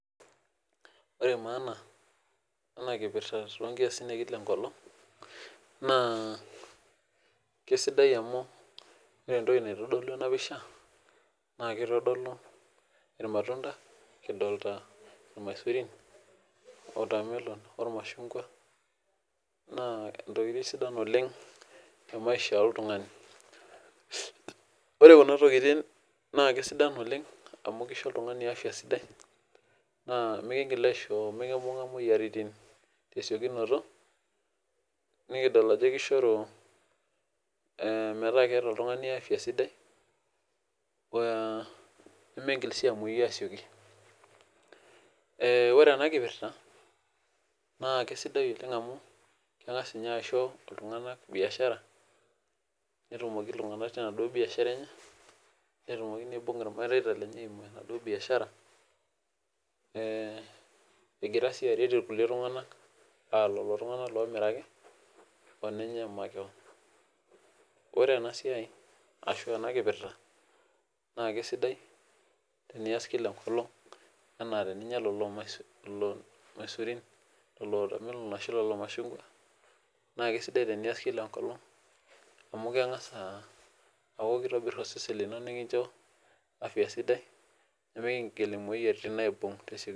Ore maana ena kipirta toonkiasin ekila enkolong naa keisidai amuu ore entoki neitodolu enapishaa naa keitodolu irmatunda kidolita irmaisurin, oltamelon ormashungwa naa intokitin sidan oleng temaisha oltungani. Ore kuna tokitin naa keisho oltungani afya sidai amu mikindim aishoo mikimbunga imoyiaritin tesiokinoto nikidol ajo keishoru metaa keeta oltungani afya sidai, eee nimingil siiamuoyu asioki. Ore ena kipirta naa keisidai oleng amu kengas ninye aisho iltunganak biashara netumoki iltunganak tenaduo biashara enye, netumoki neibung irmareta tenaduo biashara eee egira siiaret ilkulie tunganak aa lelo tunganak oomiraki oninye makeon. Ore ena siai ashuu ena kipirta naa keisidai tenias kila enkolong anaa teninya lelo maisurin, lelo watermelon ashuu lelomashungwa naa keisidai tenias kila enkolong amu kengass aakukeitobisr osesen lino nikincho afya sidai nimikindim imoyiaritin aibung